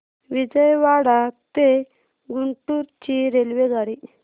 विजयवाडा ते गुंटूर ची रेल्वेगाडी